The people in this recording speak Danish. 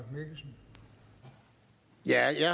jeg kan